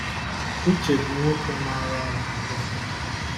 Uche bụ nwoke maara ọrụ kapịnta.